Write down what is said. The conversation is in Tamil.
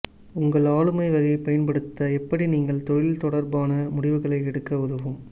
உங்கள் ஆளுமை வகை பயன்படுத்த எப்படி நீங்கள் தொழில் தொடர்பான முடிவுகளை எடுக்க உதவும்